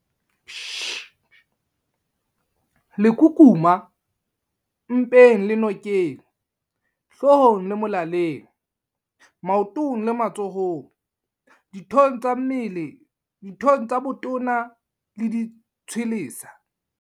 Lekukuma- Mpeng le nokeng, hloohong le molaleng, maotong le matsohong, dithong tsa botona le ditshwelesa.